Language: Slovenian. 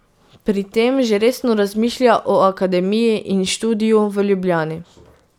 Pri tem že resno razmišlja o akademiji in študiju v Ljubljani.